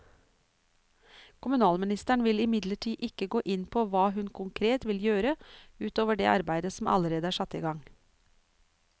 Kommunalministeren vil imidlertid ikke gå inn på hva hun konkret vil gjøre ut over det arbeidet som allerede er satt i gang.